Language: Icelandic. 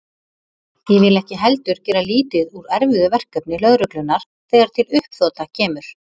Ég vil ekki heldur gera lítið úr erfiðu verkefni lögreglunnar þegar til uppþota kemur.